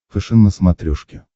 фэшен на смотрешке